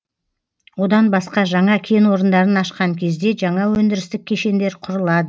одан басқа жаңа кен орындарын ашқан кезде жаңа өндірістік кешендер құрылады